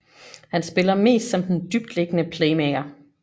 Han spiller mest som den dybtliggende playmaker